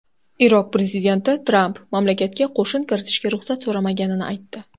Iroq prezidenti Tramp mamlakatga qo‘shin kiritishga ruxsat so‘ramaganini aytdi.